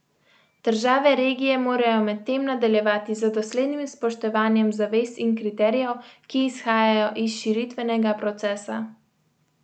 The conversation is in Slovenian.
Države regije morajo medtem nadaljevati z doslednim spoštovanjem zavez in kriterijev, ki izhajajo iz širitvenega procesa.